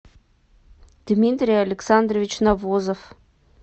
дмитрий александрович навозов